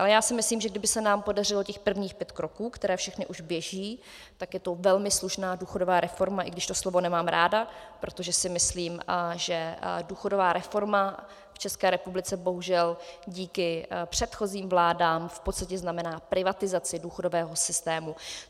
Ale já si myslím, že kdyby se nám podařilo těch prvních pět kroků, které všechny už běží, tak je to velmi slušná důchodová reforma, i když to slovo nemám ráda, protože si myslím, že důchodová reforma v České republice bohužel díky předchozím vládám v podstatě znamená privatizaci důchodového systému.